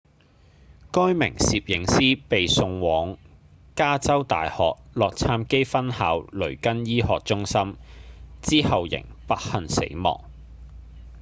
該名攝影師被送往加州大學洛杉磯分校雷根醫學中心之後仍不幸死亡